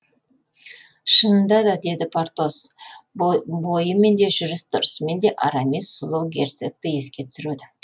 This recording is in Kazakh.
шынында да деді портос бойымен де жүріс тұрысымен де арамис сұлу герцогті еске түсіреді